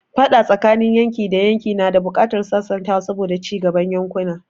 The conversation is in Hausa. Faɗa tsakanin yanki da yanki na da buƙatar sasantawa saboda cigaban yankunan.